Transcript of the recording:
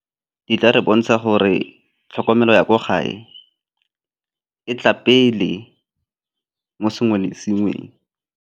Di tla re bontsha gore tlhokomelo ya kwa gae e tla pele mo sengwe le sengweng.